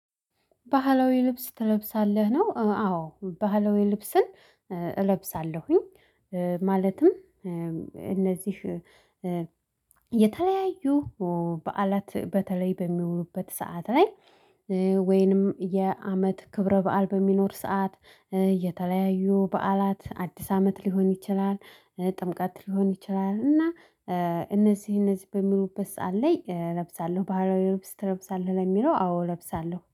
ባህላዊ ልብስ ትለብሳለህ ነው? አዎ ባህላዊ ልብስን እለብሳለሁኝ። ማለትም እነዚህ የተለያዩ በዓላት በተለይ በሚዉሉበት ሰዓት ላይ። ወይንም የአመት ክብረ በዓል በሚኖር ሰዓት። የተለያዩ በዓላት አዲስ አመት ሊሆን ይችላል ጥምቀት ሊሆን ይችላል። እና እነዚህ እነዚህ በሚዉሉበት ሰዓት ላይ እለብሳለሁ። ባህራዊ ልብስ ትለብሳለህ? ለሚለው አዎ እለብሳለሁ